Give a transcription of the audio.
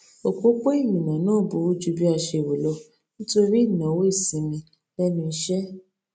opopo ìrìnnà náà burú ju bí a ṣe rò lọ nítorí ìnáwó isinmi lenu ise